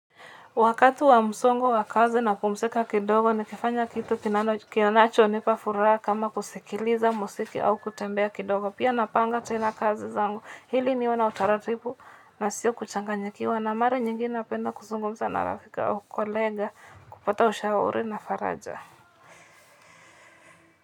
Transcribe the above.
Wakati wa msongo wa kazi na pumzika kidogo, ni kifanya kitu kinacho nipa furaha kama kusikiliza muziki au kutembea kidogo. Pia napanga tena kazi zangu iliniwe na utaratibu nasio kuchanganyikiwa na mara nyingi napenda kuzungumza na rafiki au colleague kupata ushauri na faraja.